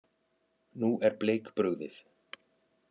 Nú er Bleik brugðið.